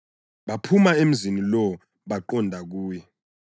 Baphuma emzini lowo baqonda kuye.